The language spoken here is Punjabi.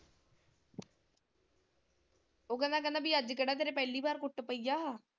ਉਹ ਕਹਿੰਦਾ ਕਹਿੰਦਾ ਬੀ ਅੱਜ ਕਿਹੜਾ ਤੇਰੇ ਪਹਿਲੀ ਵਾਰ ਕੁੱਟ ਪਈ ਆ।